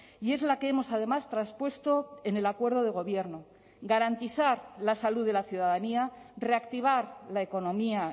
y es la que hemos además traspuesto en el acuerdo de gobierno garantizar la salud de la ciudadanía reactivar la economía